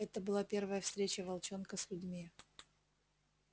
это была первая встреча волчонка с людьми